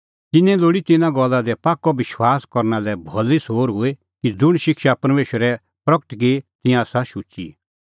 तिन्नें लोल़ी तिन्नां गल्ला दी पाक्कअ विश्वास करना लै भली सोर हुई कि ज़ुंण शिक्षा परमेशरै प्रगट की तिंयां आसा शुची